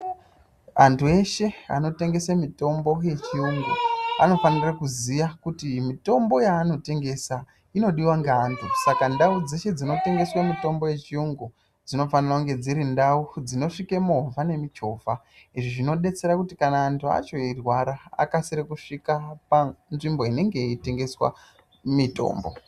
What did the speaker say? Antu eshe anotengese mutombo yechiyungu anofanire kuziya kuti mutombo yaanotengesa inodiwa ngaantu saka ndau dzeshe dzinotengeswe mitombo yechiyungu dzinofanire kunge dziri ndau dzinosvike movha nemuchovha izvi zvinodetsera kuti kana antu acho eirwara akasire kusvika panzvimbo inenge yeitengeswa mitombo.